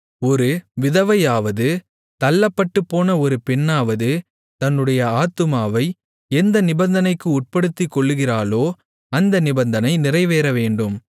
ஒரு விதவையாவது தள்ளப்பட்டுப்போன ஒரு பெண்ணாவது தன்னுடைய ஆத்துமாவை எந்த நிபந்தனைக்கு உட்படுத்திக்கொள்ளுகிறாளோ அந்த நிபந்தனை நிறைவேறவேண்டும்